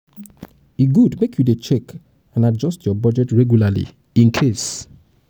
e good make you dey check and adjust your budget regularly incase